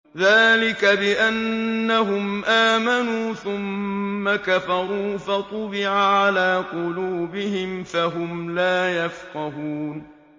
ذَٰلِكَ بِأَنَّهُمْ آمَنُوا ثُمَّ كَفَرُوا فَطُبِعَ عَلَىٰ قُلُوبِهِمْ فَهُمْ لَا يَفْقَهُونَ